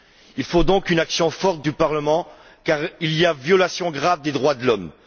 Il faut donc une action forte du Parlement car il y a violation grave des droits de l'homme.